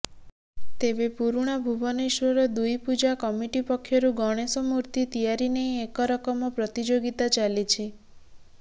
ତେବେ ପୁରୁଣା ଭୁବନେଶ୍ୱର ଦୁଇ ପୂଜା କମିଟି ପକ୍ଷରୁ ଗଣେଶ ମୂର୍ତ୍ତି ତିଆରି ନେଇ ଏକରକମ ପ୍ରତିଯୋଗିତା ଚାଲିଛି